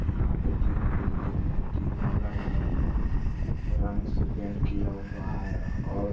यहां पे तीन बिल्डिंग है तीनों अलग-अलग रंग से पेंट किया हुआ है और --